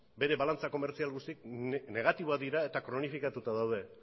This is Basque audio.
bere balantza komertzial guztiak negatiboak dira eta kronofikatuta daude